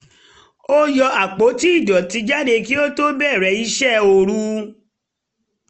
ó yọ àpótí ìdọ̀tí jáde kí ó tó bẹ̀rẹ̀ iṣẹ́ orú